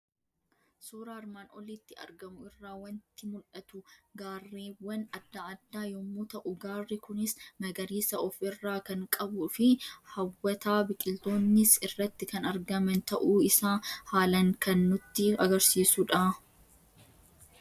Suuraa armaan olitti argamu irraa waanti mul'atu; gaarreewwan adda adda yommuu ta'u, gaarri kunis magariisa of irraa kan qabufi hawwata biqiltootnis irratti kan argman ta'uu isaa haalan kan nutti agarsiisudha.